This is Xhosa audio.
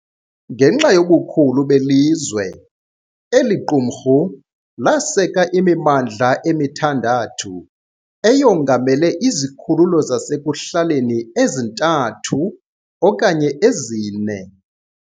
Ngenxa yobukhulu belizwe, eli qumrhu laseka imimandla emithandathu, eyongamele izikhululo zasekuhlaleni ezithathu okanye ezine.